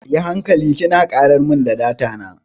Yi hankali kina karar mun da data na.